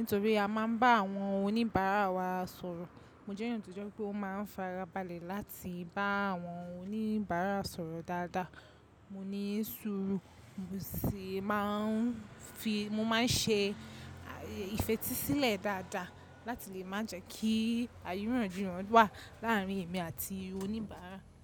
Nítorí a máa ń bá àwọn oníbàárà wa sọ̀rọ̀. Mo jẹ́ èèyàn tó jẹ́ pé ó máa ń fara balẹ̀ láti bá àwọn oníbàárà sọ̀rọ̀ dáadáa. Mo ní sùúrù, mo sì máa ń fi, mo máa ń ṣe ìfetísílẹ̀ dáadáa láti lè má jẹ́ kí àìrìyanji ysn wà láàárín èmi àti oníbàárà.